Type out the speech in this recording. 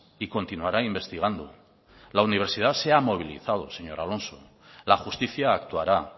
y continuará investigando la universidad se ha movilizado señor alonso la justicia actuará